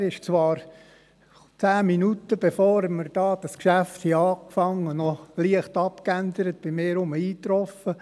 Zwar traf er zehn Minuten, bevor wir dieses Geschäft begannen, noch leicht abgeändert wieder bei mir ein.